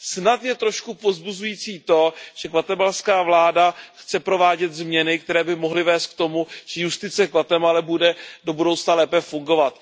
Snad je trošku povzbuzující to, že guatemalská vláda chce provádět změny, které by mohly vést k tomu, že justice v Guatemale bude do budoucna lépe fungovat.